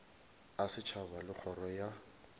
a setšhaba le kgoro ya